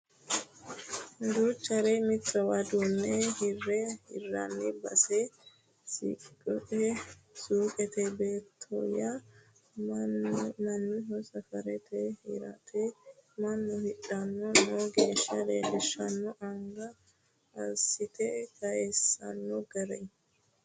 Duuchare mittowa duune hira hiranni basera suuqete beetyo mannaho safarte hirtanna mannu hidhanni no gede leelishshano anga assite kayisino gari.